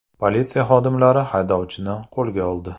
Politsiya xodimlari haydovchini qo‘lga oldi.